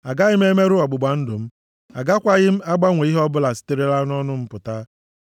Agaghị m emerụ ọgbụgba ndụ m. Agakwaghị m agbanwe ihe ọbụla siterela nʼọnụ m pụta.